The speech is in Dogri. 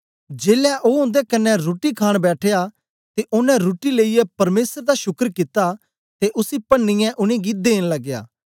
जेलै ओ उन्दे कन्ने रुट्टी खाण बैठया ते ओनें रुट्टी लेईयै परमेसर दा शुकर कित्ता ते उसी पन्नीयै उनेंगी देन लगया